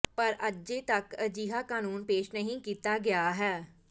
ਪਰ ਅਜੇ ਤੱਕ ਅਜਿਹਾ ਕਾਨੂੰਨ ਪੇਸ਼ ਨਹੀਂ ਕੀਤਾ ਗਿਆ ਹੈ